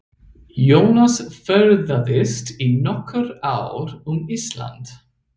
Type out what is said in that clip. Jónas ferðaðist í nokkur ár um Ísland.